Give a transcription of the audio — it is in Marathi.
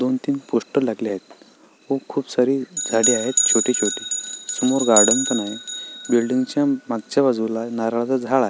दोन तीन पोस्टर लागले आहेत व खुप सारी झाड आहेत छोटी छोटी समोर गार्डन पण आहे बिल्डिंग च्या मागच्या बाजूला नारळाच झाड आहे.